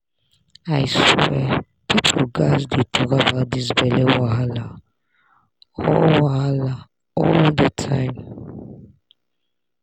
i swear people gats dey talk about this belle wahala all wahala all the time